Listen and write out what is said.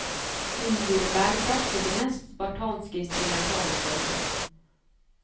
Hun gir bærekraft til det mest spartanske instrumentale følge.